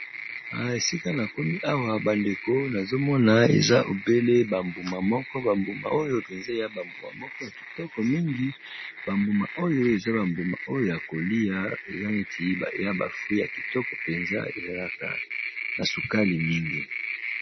Oyo ezali bongo ba mbuma ya langi ya pondu na motane, ba mbuma ngo, na lopoto babengi yango raisin ezalaka elengi na munoko pe vitamine.